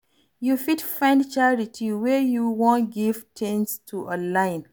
You fit find charity wey you wan give things to online